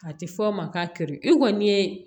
A tɛ fɔ o ma k'a kɛrɛ e kɔni ye